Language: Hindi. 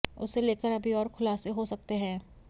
उसे लेकर अभी और खुलासे हो सकते हैं